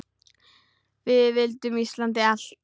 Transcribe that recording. Við vildum Íslandi allt!